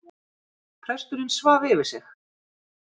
Presturinn svaf yfir sig